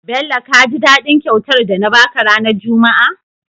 Bello kaji dadin kyautar da na baka ranar juma a?